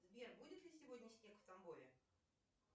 сбер будет ли сегодня снег в тамбове